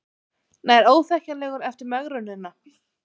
Nær óþekkjanlegur eftir megrunina